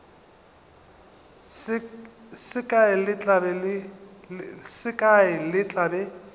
se kae le tla be